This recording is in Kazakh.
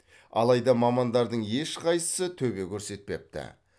алайда мамандардың ешқайсысы төбе көрсетпепті